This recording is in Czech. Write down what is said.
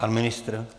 Pan ministr?